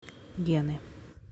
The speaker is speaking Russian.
гены